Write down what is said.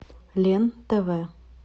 лен тв